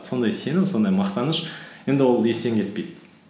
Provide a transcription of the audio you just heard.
сондай сенім сондай мақтаныш енді ол естен кетпейді